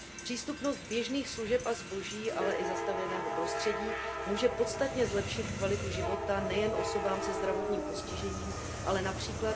Přístupnost běžných služeb a zboží, ale i zastavěného prostředí může podstatně zlepšit kvalitu života nejen osobám se zdravotním postižením, ale např.